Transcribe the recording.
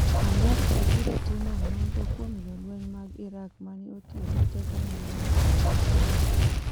Amerka biro timo nonro kuom jolweny mag Iraq ma ne otiyo gi teko mang’eny e Mosul